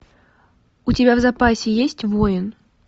у тебя в запасе есть воин